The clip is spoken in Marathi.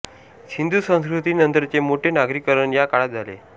सिंधू संस्कृती नंतरचे मोठे नागरीकरण या काळात झाले